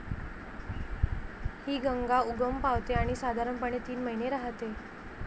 हि गंगा उगम पावते आणि साधारणपणे तीन महिने राहते.